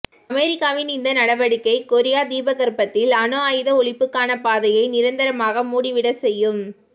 அமெரிக்காவின் இந்த நடவடிக்கை கொரிய தீபகற்பத்தில் அணு ஆயுத ஒழிப்புக்கான பாதையை நிரந்தரமாக மூடிவிட செய்யும்